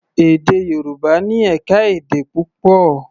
Èdè Yorùbá ní ẹ̀ka-èdè púpọ̀.